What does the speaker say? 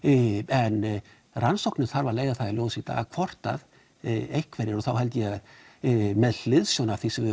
en rannsóknin þarf að leiða það í ljós í dag hvort að einhverjir og þá held ég að með hliðsjón af þeim